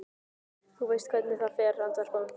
Þú veist hvernig það fer, andvarpaði hún.